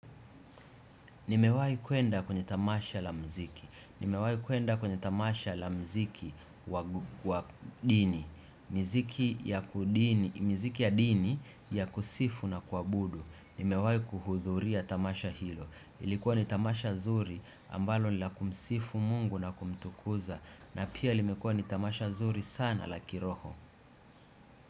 Nimewahi kuenda kwenye tamasha la mziki. Nimewahi kuenda kwenye tamasha la mziki wa dini. Miziki ya dini ya kusifu na kuabudu. Nimewahi kuhudhuria tamasha hilo. Ilikuwa ni tamasha zuri ambalo ni la kumsifu mungu na kumtukuza. Na pia limekuwa ni tamasha zuri sana la kiroho.